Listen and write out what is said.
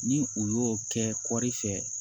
Ni u y'o kɛ kɔri fɛ